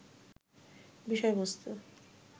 বিষয়বস্তু